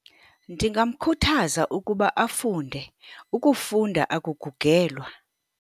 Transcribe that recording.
Ndingamkhuthaza ukuba afunde. Ukufunda akugugelwa.